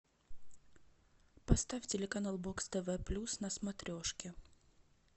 поставь телеканал бокс тв плюс на смотрешке